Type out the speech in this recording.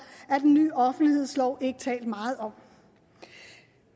af den ny offentlighedslov ikke talt meget om